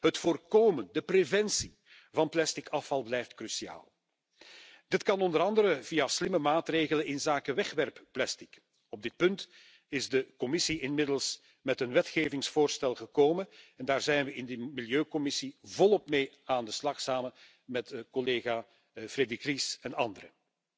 Het voorkomen van plastic afval blijft cruciaal. Dit kan onder andere via slimme maatregelen inzake wegwerpplastic. Op dit punt is de Commissie inmiddels met een wetgevingsvoorstel gekomen en daar zijn we in de Milieucommissie volop mee aan de slag samen met collega Frédérique Ries en anderen.